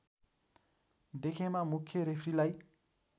देखेमा मुख्य रेफ्रीलाई